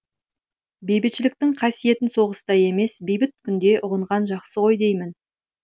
бейбітшіліктің қасиетін соғыста емес бейбіт күнде ұғынған жақсы ғой деймін